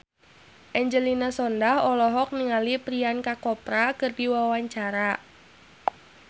Angelina Sondakh olohok ningali Priyanka Chopra keur diwawancara